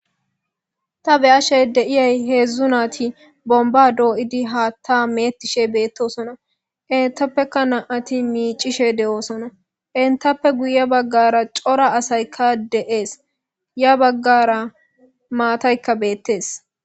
Ta beyashey deiyay heedzdzu naati bomba dooyidi haatta meettishe beettosona intappeka na7ati miicishe de7oosona intappe guye baggara cora asaykka de7ees ya baggara maataykka beettees.